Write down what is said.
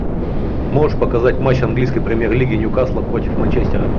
можешь показать матч английской премьер лиги ньюкасла против манчестера